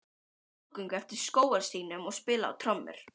Þau fóru í skrúðgöngu eftir skógarstígnum og spiluðu á trommur.